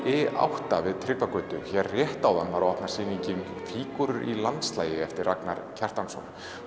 i átta við Tryggvagötu hér rétt áðan var opnuð sýningin fígúrur í landslagi eftir Ragnar Kjartansson